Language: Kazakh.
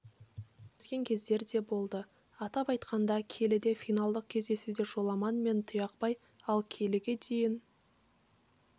кездескен кездері де болды атап айтқанда келіде финалдық кездесуде жоламан мен тұяқбай ал келіге дейін